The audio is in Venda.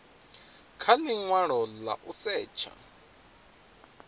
kha linwalo la u setsha